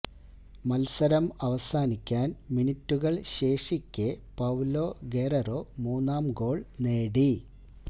മത്സരം അവസാനിക്കാന് മിനിറ്റുകള് ശേഷിക്കെ പൌലോ ഗെറേറോ മൂന്നാം ഗോള് നേടി